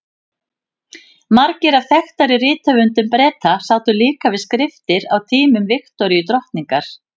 Margir af þekktari rithöfundum Breta sátu líka við skriftir á tímum Viktoríu drottningar.